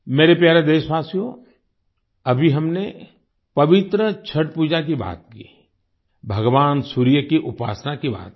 मेरे प्यारे देशवासियो अभी हमने पवित्र छठ पूजा की बात की भगवान सूर्य की उपासना की बात की